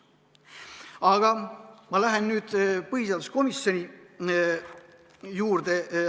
Aga ma lähen nüüd põhiseaduskomisjonis toimunu juurde.